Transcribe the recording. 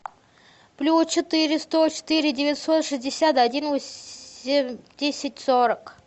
плюс четыре сто четыре девятьсот шестьдесят один восемь десять сорок